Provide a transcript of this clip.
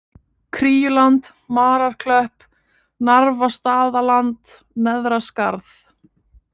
Kríuland, Mararklöpp, Narfastaðaland, Neðra Skarð